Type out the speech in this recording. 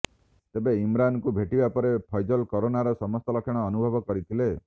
ତେବେ ଇମ୍ରାନଙ୍କୁ ଭେଟିବା ପରେ ଫୈଜଲ୍ କରୋନାର ସମସ୍ତ ଲକ୍ଷଣ ଅନୁଭବ କରିଥିଲେ